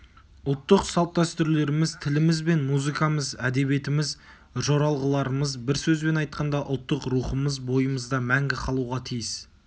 ұлттық салт-дәстүрлеріміз тіліміз бен музыкамыз әдебиетіміз жоралғыларымыз бір сөзбен айтқанда ұлттық рухымыз бойымызда мәңгі қалуға тиіс